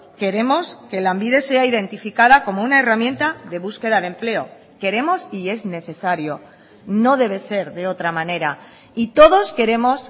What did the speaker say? queremos que lanbide sea identificada como una herramienta de búsqueda de empleo queremos y es necesario no debe ser de otra manera y todos queremos